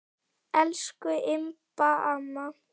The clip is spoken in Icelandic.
Elsku Imba amma.